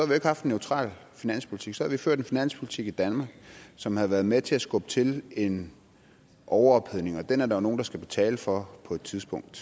jo ikke haft en neutral finanspolitik så havde vi ført en finanspolitik i danmark som havde været med til at skubbe til en overophedning og den er der jo nogen der skal betale for på et tidspunkt